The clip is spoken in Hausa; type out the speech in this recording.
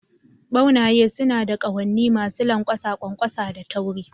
Ɓaunaye suna da ƙahonni masu lanƙwasa, ƙwanƙwasa da tauri